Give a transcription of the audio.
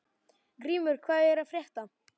Grímur, hvað er að frétta?